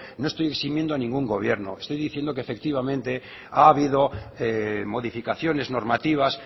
no estoy eximiendo a ningún gobierno estoy diciendo que efectivamente ha habido modificaciones normativas